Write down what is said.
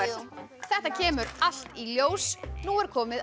þetta kemur allt í ljós nú er komið að